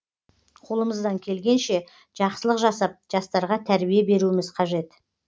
қолымыздан келгенше жақсылық жасап жастарға тәрбие беруіміз қажет